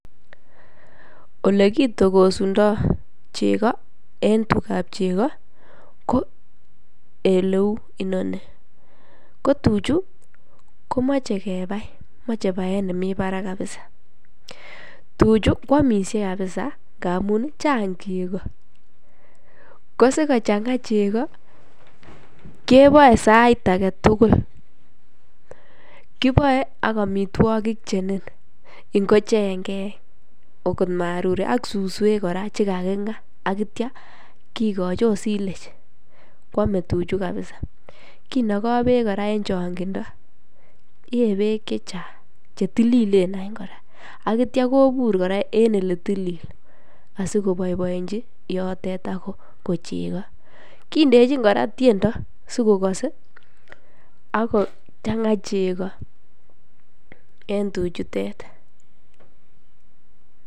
Olo kitokosundo cheko en tugab cheko ko oleu inoni ko tuchuu komoi baet nemii barak kabisa, tuchuu kwomishe kabisa ngamun Chang cheko. Ko sikochanga cheko kiboe sait agetukul kiboe ak omitwokik chenin ngo Chengek okot marurek ak suswek koraa chekakinga ak ityo kikochi ot silage kwome tuchuu kabisa kinogoo beek Koraa en chongindo yeee beek chechang ako chetililen anch Koraa. Ak ityo kobur Koraa en ole tilil asikoboiboiechi yote akokoin cheko. Kindechi Koraa tyondo sikokose ak kochanga cheko en tuchutet.